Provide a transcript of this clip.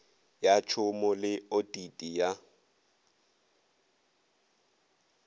ya tšhomo le otiti ya